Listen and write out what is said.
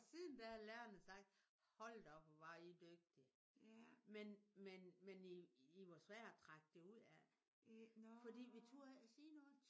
Og siden da har lærerne sagt hold da op hvor var i dygtige. Men men men I I var svære at trække det ud af. Fordi vi turde ikke at sige noget